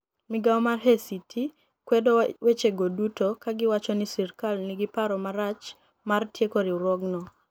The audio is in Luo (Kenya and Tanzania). Migao mar ACT kwedo wechego duto, ka giwacho nii "sirkal niigi paro marach mar tieko riwruogno".